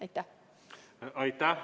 Aitäh!